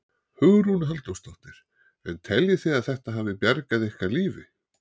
Hugrún Halldórsdóttir: En teljið þið að þetta hafi bjargað ykkar lífi?